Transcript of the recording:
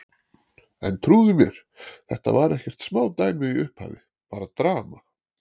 En trúðu mér, þetta var ekkert smá dæmi í upphafi, bara drama.